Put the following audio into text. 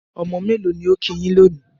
Ọmọ mélò ni ó kí yín lónìí?